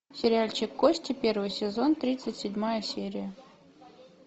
сериальчик кости первый сезон тридцать седьмая серия